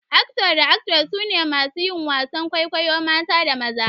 "Actor" da "Actress" su ne masu yin wasan kwaikwayo mata da maza.